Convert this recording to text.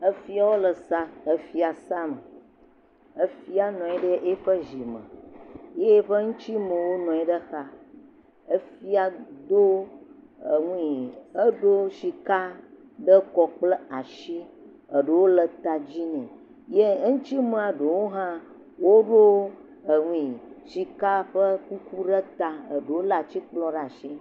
Efiawo le sa, efiasa nɔ anyi ɖe eƒe zi me ye eŋtsi mewo nɔ anyi ɖe xa, efia do e nui edo sika ɖe kɔ kple asi ye eɖewo le ta dzi nɛ ye eŋuti me ɖewo hã, woɖo e nui sika ƒe kuku ɖe ta, eɖewo lé atikplɔ ɖe asi.